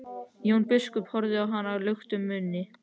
Jón biskup horfði á hann luktum munni.